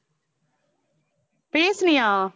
பேசுனியா